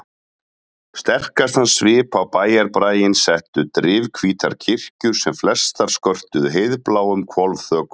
Sterkastan svip á bæjarbraginn settu drifhvítar kirkjur sem flestar skörtuðu heiðbláum hvolfþökum.